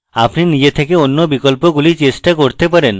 আপনি নিজে থেকে অন্য বিকল্পগুলি চেষ্টা করতে পারেন